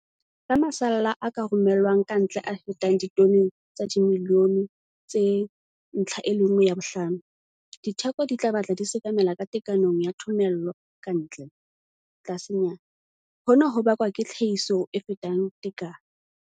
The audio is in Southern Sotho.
Ka masalla a ka romellwang ka ntle a fetang ditone tsa dimilione tse 1, 5, ditheko di tla batla di sekamela ka tekanong ya thomello ka ntle, tlasenyana, hona ho bakwa ke tlhahiso e fetang tekano.